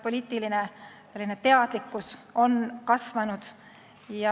Poliitiline teadlikkus on kasvanud.